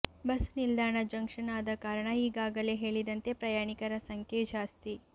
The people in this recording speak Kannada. ಬಸ್ಸು ನಿಲ್ದಾಣ ಜಂಕ್ಷನ್ ಆದ ಕಾರಣ ಈಗಾಗಲೇ ಹೇಳಿದಂತೆ ಪ್ರಯಾಣಿಕರ ಸಂಖ್ಯೆ ಜಾಸ್ತಿ